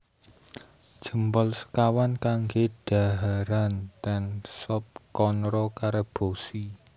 Jempol sekawan kangge dhaharan ten Sop Konro Karebosi